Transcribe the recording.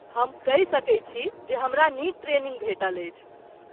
हम कहि सकैत छी जे हमरा नीक ट्रेनिंग भेटल अछि।